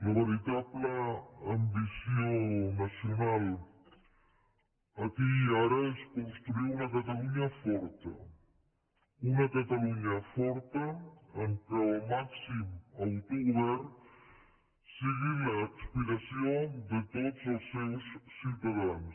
la veritable ambició nacional aquí i ara és construir una catalunya forta una catalunya forta en què el màxim autogovern sigui l’aspiració de tots els seus ciutadans